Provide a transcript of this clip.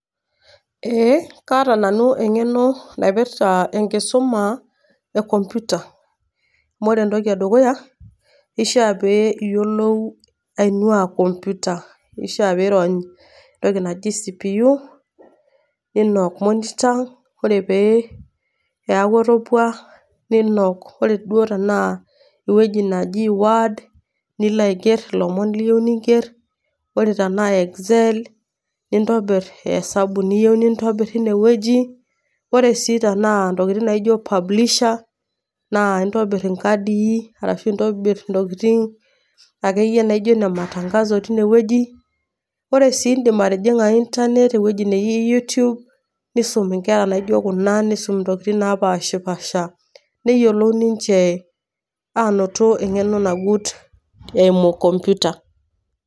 Eeh, kaaata nanu eng'eno naipirita enkisuma e kompyuta. Ore entoki e dukuya eishaa pee iyiolou aainua enkopyuta. Eishaa pee irony entoki naji CPU ninok monitor, ore pee eaku etopua, ninok oree duo tanaa ewueji naji word, nilo aiger ilomon liyou ninger, ore tana Excel nintobir esabu niyou nintobir teine wueji. Ore sii tana intokitin naijo publishers naa intobir inkadii ashu intobir intokitin ake iyie joiye ine matangazo teine wueji. Ore sii indim atijing'a internet nilo ewueji naji YouTube nisum inkera naijo Kuna, nisum intokitin napashapasha. Neyioulou ninche ainoto eng'eno nagut eimu kompyuta.